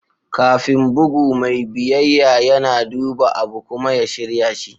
Kafin bugu, mai biyayya yana duba abu kuma ya shirya shi.